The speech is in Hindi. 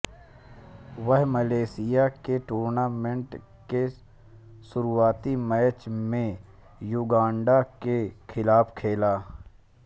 वह मलेशिया के टूर्नामेंट के शुरुआती मैच में युगांडा के खिलाफ खेले